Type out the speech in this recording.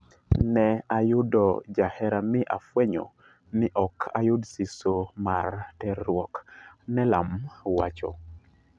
"Ne ayudo jahera mi afuenyo ni ok ayud siso mar terruok," Neelam wacho.